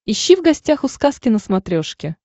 ищи в гостях у сказки на смотрешке